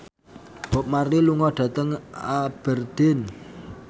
Bob Marley lunga dhateng Aberdeen